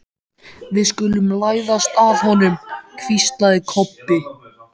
Við skulum læðast að honum, hvíslaði Kobbi.